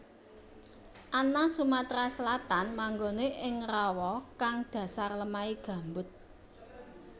Ana Sumatera Selatan manggonè ing rawa kang dhasar lemahè gambut